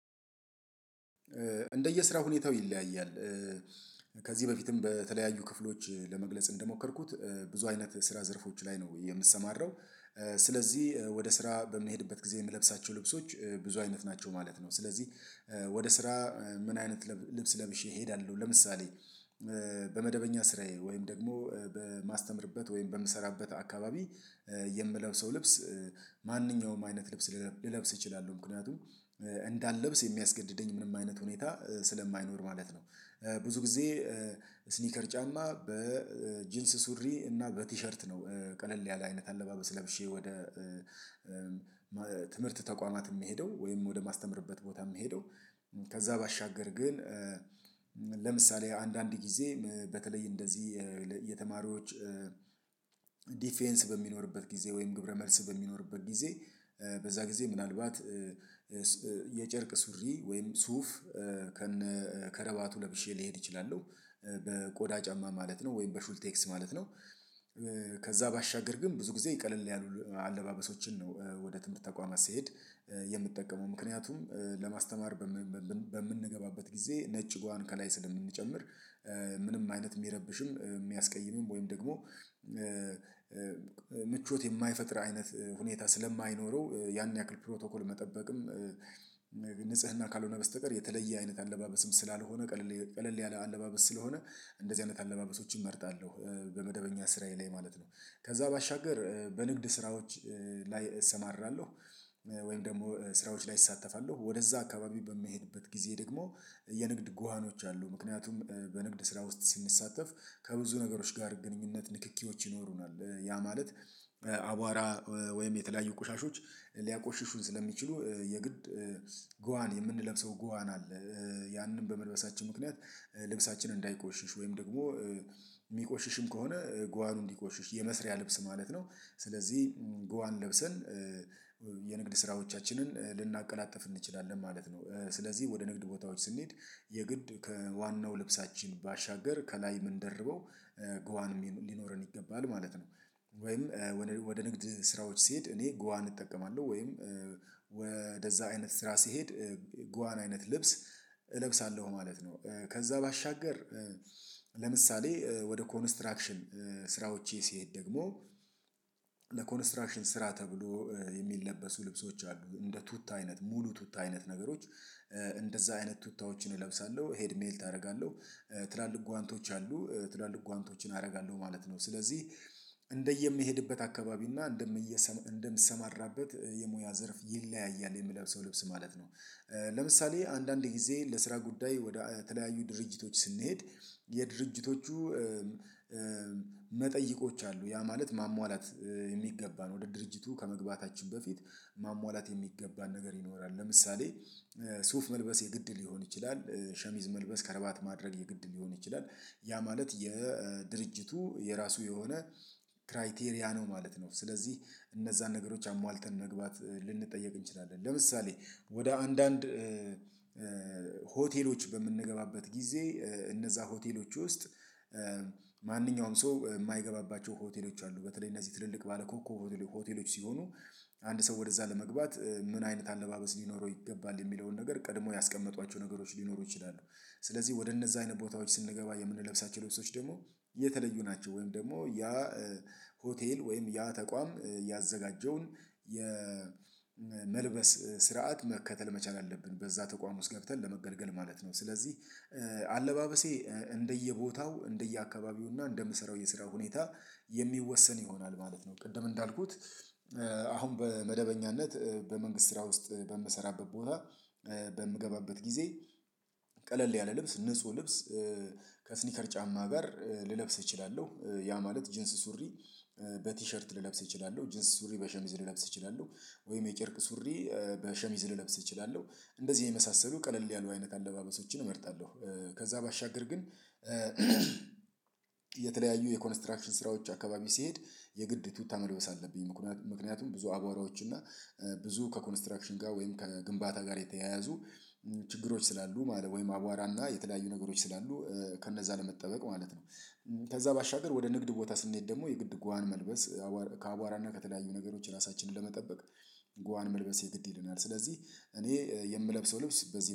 እንደየስራ ሁኔታው ይለያያል። ከዚህ በፊትም በተለያዩ ክፍሎች ለመግለጽ እንደሞከርኩት ብዙ አይነት ስራ ዘርፎች ላይ ነው የምሰማራው። ስለዚህ ወደ ስራ በምሄድበት ጊዜ የምለብሳቸው ልብሶች ብዙ አይነት ናቸው ማለት ነው። ስለዚህ ወደ ስራ ምን አይነት ልብስ ለብሼ እሄዳለሁ። ለምሳሌ በመደበኛ ስራዬ ወይም ደግሞ በማስተምርበት ወይም በምሰራበት አካባቢ የምለብሰው ልብስ ማንኛውም አይነት ልብስ ልለብስ እችላለሁ። ምክንያቱም እንዳልለብስ የሚያስገድደኝ ምንም አይነት ሁኔታ ስለማይኖር ማለት ነው። ብዙ ጊዜ ስኒከር ጫማ በጂንስ ሱሪ እና በቲሸርት ነው። ቀለል ያለ አይነት አለባበስ ለብሼ ወደ ትምህርት ተቋማት ምሄደው ወይም ወደ ማስተምርበት ቦታ ምሄደው። ከዛ ባሻገር ግን ለምሳሌ አንዳንድ ጊዜ በተለይ እንደዚህ የተማሪዎች ዲፌንስ በሚኖርበት ጊዜ ወይም ግብረ መልስ በሚኖርበት ጊዜ በዛ ጊዜ ምናልባት የጨርቅ ሱሪ ወይም ሱፍ ከነ ከረባቱ ለብሼ ሊሄድ እችላለው በቆዳ ጫማ ማለት ነው ወይም በሹልቴክስ ማለት ነው። ከዛ ባሻገር ግን ብዙ ጊዜ ቅልል ያሉ አለባበሶችን ነው። ወደ ትምህርት ተቋማት ስሄድ የምትጠቀመው ምክንያቱም ለማስተማር በምንገባበት ጊዜ ነጭ ጓዋን ከላይ ስለምንጨምር ምንም አይነት የሚረብሽም የሚያስቀይምም ወይም ደግሞ ምቾት የማይፈጥር አይነት ሁኔታ ስለማይኖረው ያን ያክል ፕሮቶኮል መጠበቅም ንጽህና ካልሆነ በስተቀር የተለየ አይነት አለባበስም ስላልሆነ ቀለል ያለ አለባበስ ስለሆነ እንደዚህ አይነት አለባበሶችን እመርጣለሁ። በመደበኛ ስራዬ ላይ ማለት ነው ከዛ ባሻገር በንግድ ስራዎች ላይ እሰማራለሁ። ወይም ደግሞ ስራዎች ላይ እሳተፋለሁ ወደዛ አካባቢ በመሄድበት ጊዜ ደግሞ የንግድ ጓዋኖች አሉ ምክንያቱም በንግድ ስራ ውስጥ ስንሳተፍ ከብዙ ነገሮች ጋር ግንኙነት ንክኪዎች ይኖሩናል። ያ ማለት አቧራ ወይም የተለያዩ ቆሻሻዎች ሊያቆሽሹን ስለሚችሉ የግድ ጎዋን የምንለብሰው ጎዋን አለ። ያንን በመልበሳችን ምክንያት ልብሳችን እንዳይቆሽሽ ወይም ደግሞ የሚቆሽሽም ከሆነ ጓዋን እንዲቆሽሽ የመስሪያ ልብስ ማለት ነው። ስለዚህ ጉዋን ለብሰን የንግድ ስራዎቻችንን ልናቀላጥፍ እንችላለን ማለት ነው። ስለዚህ ወደ ንግድ ቦታዎች ስንሄድ የግድ ከዋናው ልብሳችን ባሻገር ከላይ ምን ደርበው ጉዋን ሊኖረን ይገባል ማለት ነው። ወይም ወደ ንግድ ስራዎች ሲሄድ እኔ ጓዋን እጠቀማለሁ ወይም ወደዛ አይነት ስራ ሲሄድ ጓዋን አይነት ልብስ እለብሳለሁ ማለት ነው። ከዛ ባሻገር ለምሳሌ ወደ ኮንስትራክሽን ስራዎቼ ሲሄድ ደግሞ ለኮንስትራክሽን ስራ ተብሎ የሚለበሱ ልብሶች አሉ እንደ ቱታ አይነት ሙሉ ቱታ አይነት ነገሮች እንደዛ አይነት ቱታዎችን እለብሳለሁ ሄድ ሜልት አደርጋለሁ። ትላልቅ ጓንቶች አሉ ትላልቅ ጓንቶችን አደርጋለሁ ማለት ነው። ስለዚህ እንደየምሄድበት አካባቢ እና እንደምሰማራበት የሙያ ዘርፍ ይለያያል የምለብሰው ልብስ ማለት ነው። ለምሳሌ አንዳንድ ጊዜ ለስራ ጉዳይ ወደ ተለያዩ ድርጅቶች ስንሄድ የድርጅቶቹ መጠይቆች አሉ ያ ማለት ማሟላት የሚገባን ወደ ድርጅቱ ከመግባታችን በፊት ማሟላት የሚገባን ነገር ይኖራል። ለምሳሌ ሱፍ መልበሴ ግድ ሊሆን ይችላል። ሸሚዝ መልበስ ከረባት ማድረግ የግድ ሊሆን ይችላል። ያ ማለት የድርጅቱ የራሱ የሆነ ክራይቴሪያ ነው ማለት ነው። ስለዚህ እነዛን ነገሮች አሟልተን መግባት ልንጠየቅ እንችላለን። ለምሳሌ ወደ አንዳንድ ሆቴሎች በምንገባበት ጊዜ እነዛ ሆቴሎች ውስጥ ማንኛውም ሰው የማይገባባቸው ሆቴሎች አሉ በተለይ እነዚህ ትልልቅ ባለኮከብ ሆቴሎች ሲሆኑ አንድ ሰው ወደዛ ለመግባት ምን አይነት አለባበስ ሊኖረው ይገባል የሚለውን ነገር ቀድሞ ያስቀመጧቸው ነገሮች ሊኖሩ ይችላሉ። ስለዚህ ወደ እነዛ አይነት ቦታዎች ስንገባ የምንለብሳቸው ልብሶች ደግሞ የተለዩ ናቸው። ወይም ደግሞ ያ ሆቴል ወይም ያ ተቋም ያዘጋጀውን የመልበስ ስርዓት መከተል መቻል አለብን በዛ ተቋም ውስጥ ገብተን ለመገልገል ማለት ነው። ስለዚህ አለባበሴ እንደየቦታው እንደየአካባቢውና እንደምሰራው የስራ ሁኔታ የሚወሰን ይሆናል ማለት ነው። ቅድም እንዳልኩት አሁን በመደበኛነት በመንግስት ስራ ውስጥ በምሰራበት ቦታ በምገባበት ጊዜ ቀለል ያለ ልብስ ንጹህ ልብስ ከስኒከር ጫማ ጋር ልለብስ እችላለሁ። ያ ማለት ጂንስ ሱሪ በቲሸርት ልለብስ እችላለሁ። ጂንስ ሱሪ በሸሚዝ ልለብስ እችላለሁ። ወይ የጨርቅ ሱሪ በሸሚዝ ልለብስ እችላለሁ እንደዚህ የመሳሰሉ ቀለል ያሉ አይነት አለባበሶችን እመርጣለሁ። ከዛ ባሻገር ግን የተለያዩ የኮንስትራክሽን ስራዎች አካባቢ ሲሄድ የግድ ቱታ መልበስ አለብኝ። ምክንያቱም ብዙ አቧራዎች እና ብዙ ከኮንስትራክሽን ጋር ወይም ከግንባታ ጋር የተያያዙ ችግሮች ስላሉ ማለት ወይም አቧራና የተለያዩ ነገሮች ስላሉ ከነዛ ለመጠበቅ ማለት ነው። ከዛ ባሻገር ወደ ንግድ ቦታ ስንሄድ ደግሞ የግድ ጓን መልበስ ከአቧራና ከተለያዩ ነገሮች ራሳችንን ለመጠበቅ ጉዋን መልበሴ ግድ ይልናል። ስለዚህ እኔ የምለብሰው ልብስ በዚህ